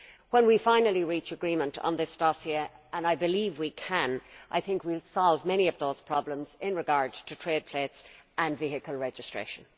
When we finally reach agreement on this dossier, and I believe we can, I think we will solve many of those problems in regard to trade plates and vehicle registration.